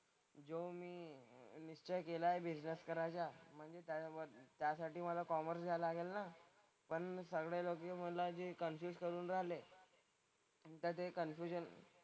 जो मी निश्चय केलाय बिझनेस करायचा मग मी त्याच्यावर त्यासाठी मला कॉमर्स घ्यायला लागेल ना. पण सगळे लोकं मला ते कन्फ्युज करून झाले. तर ते कन्फ्युजन,